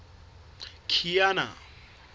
kiana